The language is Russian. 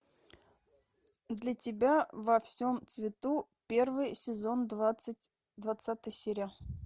для тебя во всем цвету первый сезон двадцать двадцатая серия